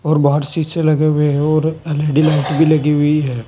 और बाहर शीशे लगे हुए हैं और एल_ई_डी लाइट भी लगी हुई है।